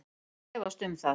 Ég efst um það